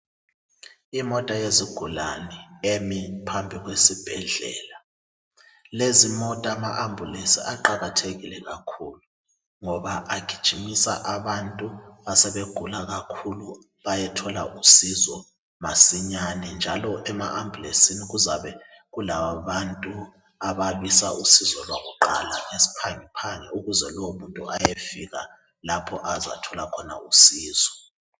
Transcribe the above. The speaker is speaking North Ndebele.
Imota yesigulane emi phambili kwesibhedlela. Lezimota amaAmbulance aqakathekile kakhulu ngoba agijimisa abantu asebegula kakhulu bayethola usizo masinyane njalo emaAmbhulensini kuzabe kulabantu ababisa usizo lwakuqala ngesiphangiphangi ukuze lowomuntu ayefika lapho azathola khona usizo.